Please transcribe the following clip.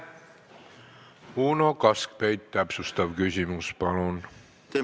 Uno Kaskpeit, täpsustav küsimus palun!